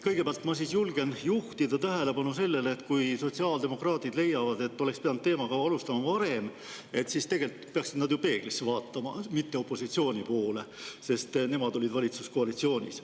Kõigepealt julgen ma juhtida tähelepanu sellele, et kui sotsiaaldemokraadid leiavad, et teema oleks pidanud alustama varem, siis peaksid nad ju peeglisse vaatama, mitte opositsiooni poole, sest nemad olid valitsuskoalitsioonis.